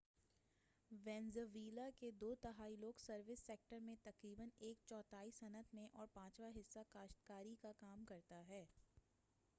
Venezuela کے دو تہائی لوگ سروس سیکٹر میں تقریبا ایک چوتھائی صنعت میں اور پانچواں حصّہ کاشتکاری کا کام کرتا ہے